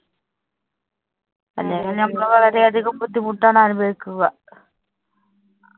അല്ലെങ്കില്‍ ഞമ്മള് വളരെ അധികം ബുദ്ധിമുട്ടാണ് അനുഭവിക്കുക.